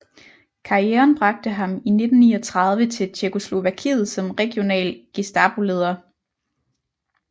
Karrieren bragte ham i 1939 til Tjekkoslovakiet som regional Gestapoleder